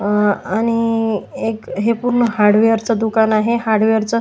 अ आणि एक हे पूर्ण हार्डवेअर च दुकान आहे हार्डवेअर च --